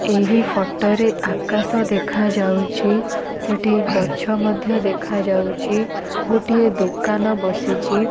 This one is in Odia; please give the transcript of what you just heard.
ଏହି ଫଟୋ ରେ ଆକାଶ ଦେଖା ଯାଉଚି ସେଠି ଗଛ ମଧ୍ୟ ଦେଖା ଯାଉଛି ଗୋଟିଏ ଦୋକାନ ବସିଛି ।